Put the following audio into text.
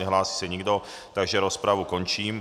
Nehlásí se nikdo, takže rozpravu končím.